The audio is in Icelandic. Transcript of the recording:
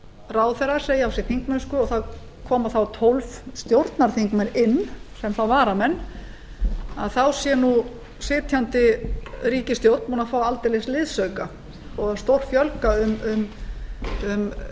ráðherrar segja af sér þingmennsku og það koma þá tólf stjórnarþingmenn inn og sem varamenn þá sé sitjandi ríkisstjórn búinn að fá aldeilis liðsauka og stórfjölga um